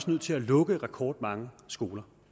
nødt til at lukke rekordmange skoler